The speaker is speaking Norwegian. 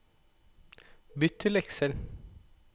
bytt til Excel